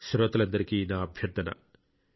శ్రోతలందరికీ నా అభ్యర్థన